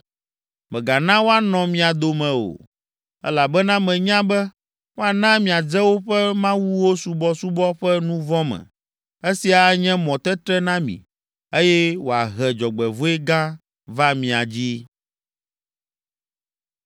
Mègana woanɔ mia dome o, elabena menya be woana miadze woƒe mawuwo subɔsubɔ ƒe nu vɔ̃ me; esia anye mɔtetre na mi, eye wòahe dzɔgbevɔ̃e gã va mia dzi.”